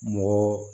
Mɔgɔ